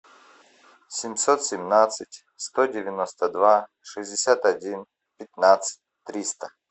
семьсот семнадцать сто девяносто два шестьдесят один пятнадцать триста